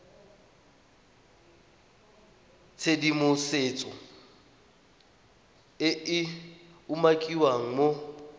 tshedimosetso e e umakiwang mo